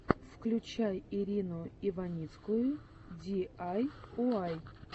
включай ирину иваницкую ди ай уай